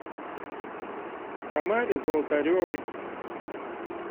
тамаре золотаревой